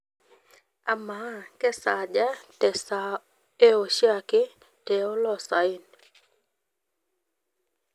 amaa kesaaja te saa ee oshiake te oloosayen